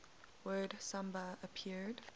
word samba appeared